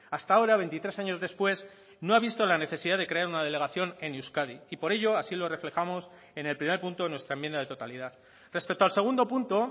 hasta ahora veintitrés años después no ha visto la necesidad de crear una delegación en euskadi y por ello así lo reflejamos en el primer punto de nuestra enmienda de totalidad respecto al segundo punto